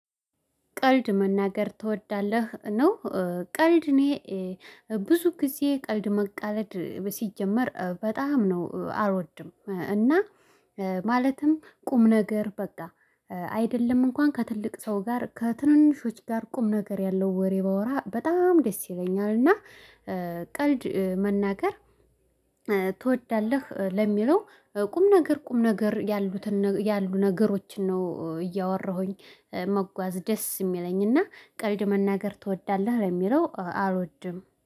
ቀልድ መናገር ትወዳለህ? ነው ቀልድ እኔ ብዙ ጊዜ ቀልድ መቃለድ ሲጀመር በጣም ነው አልወድም። እና ማለትም ቁም ነገር በቃ አይደለም እንኳን ከትልቅ ሰው ጋር ከትንንሾች ጋር ቁም ነገር ያለው ወሬ ባወራ በጣም ደስ ይለኛል። እና ቀልድ መናገር ትወዳለህ ለሚለው ቁም ነገር ቁም ነገር ያሉትን ያሉ ነገሮችን ነው እያወራሁኝ መጓዝ ደስ የሚለኝና ቀሪድ መናገር ትወዳለህ ለሚለው አልወድም።